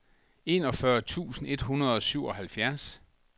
enogfyrre tusind et hundrede og syvoghalvfjerds